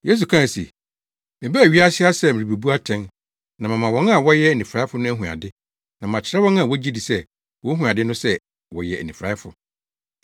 Yesu kae se, “Mebaa wiase ha sɛ merebebu atɛn, na mama wɔn a wɔyɛ anifuraefo no ahu ade, na makyerɛ wɔn a wogye di sɛ wohu ade no sɛ, wɔyɛ anifuraefo.”